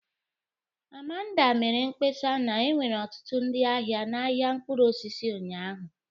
Amanda mere mkpesa na enwere ọtụtụ ndị ahịa na ahịa mkpụrụ osisi ụnyahụ